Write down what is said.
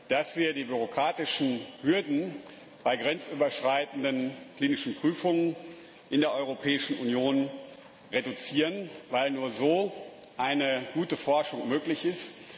dass wir die bürokratischen Hürden bei grenzüberschreitenden klinischen Prüfungen in der Europäischen Union reduzieren, weil nur so eine gute Forschung möglich ist.